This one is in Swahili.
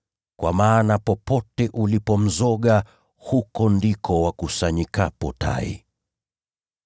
Kwa maana popote ulipo mzoga, huko ndiko wakusanyikapo tai.